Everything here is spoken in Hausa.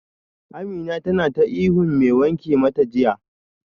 Amina tana ta ihun mai wanke mata jiya